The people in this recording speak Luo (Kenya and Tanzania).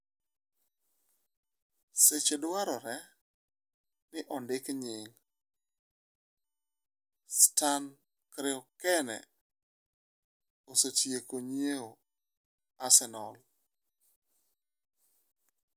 (Seche - dwarore ni ondik nying') Stan Kroenke osetieko nyieo Arsenal.